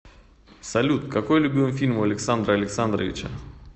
салют какой любимый фильм у александра александровича